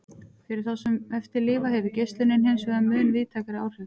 Fyrir þá sem eftir lifa hefur geislunin hinsvegar mun víðtækari áhrif.